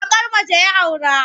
Baƙar mace ya aura.